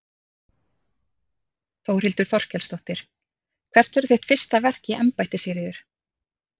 Þórhildur Þorkelsdóttir: Hvert verður þitt fyrsta verk í embætti Sigríður?